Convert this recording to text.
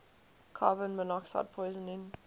carbon monoxide poisoning